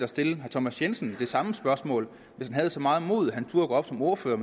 stillet herre thomas jensen det samme spørgsmål hvis han havde så meget mod at han turde gå op som ordfører